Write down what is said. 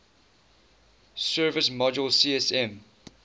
service module csm